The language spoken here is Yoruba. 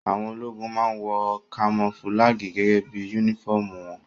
Àwọn ológun máa wọ kamofúlágì gẹ́gẹ́ bí yúnífọ̀mù wọn